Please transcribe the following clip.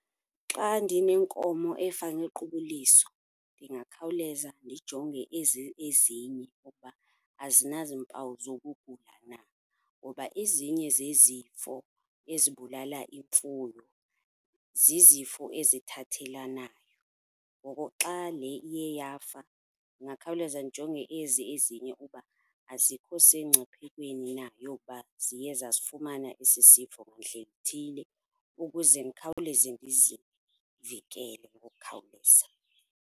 Xa ndinenkomo efa ngequbuliso ndingakhawuleza ndijonge ezi ezinye ukuba azinazimpawu zokugula na, ngoba ezinye zezifo ezibulala imfuyo zizifo ezithathelanayo. Ngoko xa le iye yafa ndingakhawuleza ndijonge ezi ezinye uba azikho semngciphekweni na yokuba ziye zasifumana esi sifo ngandlela ithile, ukuze ndikhawuleze ndizivikele ngokukhawuleza.